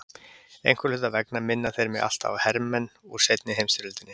Einhverra hluta vegna minna þeir mig alltaf á hermenn úr seinni heimsstyrjöldinni.